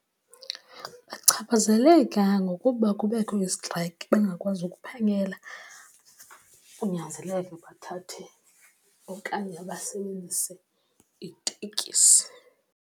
Bachaphazeleka ngokuba kubekho izitrayikhi bangakwazi ukuphangela kunyanzeleke bathathe okanye basebenzise itekisi.